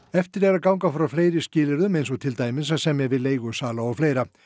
eftir er að ganga frá fleiri skilyrðum eins og til dæmis að semja við leigusala og fleira